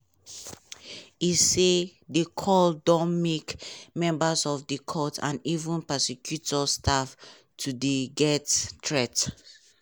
e say di call don make members of di court and even prosecutor staff to dey get threats.